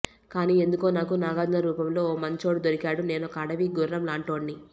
కానీ ఎందుకో నాకు నాగార్జున రూపంలో ఓ మంచోడు దొరికాడు నేనొక అడవి గుర్రంలాంటోడ్ని